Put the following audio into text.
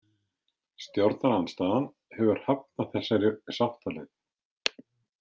Stjórnarandstaðan hefur hafnað þessari sáttaleið.